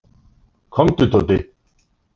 Komdu Tóti.